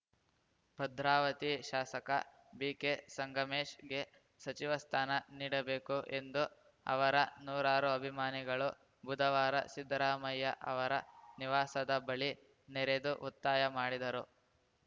ಭದ್ರಾವತಿ ಶಾಸಕ ಬಿಕೆ ಸಂಗಮೇಶ್‌ಗೆ ಸಚಿವ ಸ್ಥಾನ ನೀಡಬೇಕು ಎಂದು ಅವರ ನೂರಾರು ಅಭಿಮಾನಿಗಳು ಬುಧವಾರ ಸಿದ್ದರಾಮಯ್ಯ ಅವರ ನಿವಾಸದ ಬಳಿ ನೆರೆದು ಒತ್ತಾಯ ಮಾಡಿದರು